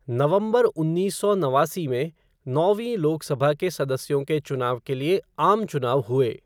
नवंबर उन्नीस सौ नवासी में, नौवीं लोकसभा के सदस्यों के चुनाव के लिए आम चुनाव हुए।